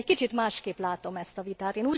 Én egy kicsit másként látom ezt a vitát.